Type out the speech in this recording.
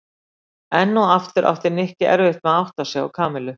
Enn og aftur átti Nikki erfitt með að átta sig á Kamillu.